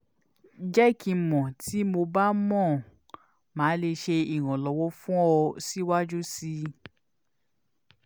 jẹ ki n mọ ti mo ba mo ba le ṣe iranlọwọ fun ọ siwaju sii